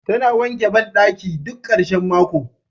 Tana wanke bandaki duk karshen mako.